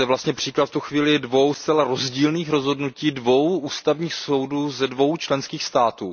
Je zde příklad v tuto chvíli dvou zcela rozdílných rozhodnutí dvou ústavních soudů ze dvou členských států.